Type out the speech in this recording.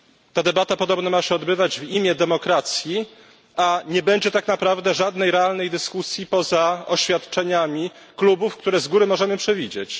Ta debata podobno ma się odbywać w imię demokracji, a nie będzie tak naprawdę żadnej realnej dyskusji poza oświadczeniami klubów, które z góry możemy przewidzieć.